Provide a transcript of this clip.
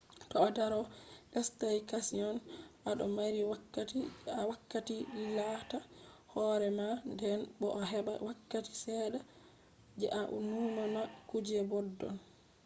to a do staycation a do mari wakkati je a hakkilitta hore mah den bo a heba wakkati sedda je a numa ta kuje boddon